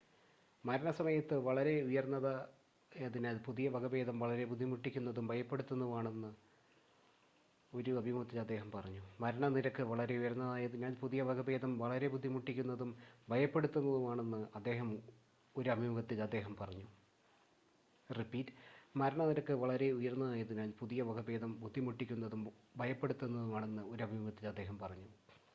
മരണ നിരക്ക് വളരെ ഉയർന്നതായതിനാൽ പുതിയ വകഭേദം വളരെ ബുദ്ധിമുട്ടിക്കുന്നതും ഭയപ്പെടുത്തുന്നതുമാണെന്ന് ഒരു അഭിമുഖത്തിൽ അദ്ദേഹം പറഞ്ഞു